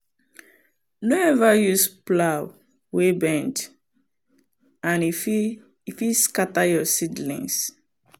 no ever use plow wey bend and e fit scatter your seedlings.